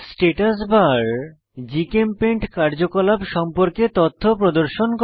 status bar GChemPaint কার্যকলাপ সম্পর্কে তথ্য প্রদর্শন করে